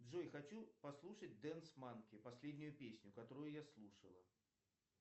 джой хочу послушать дэнс манки последнюю песню которую я слушала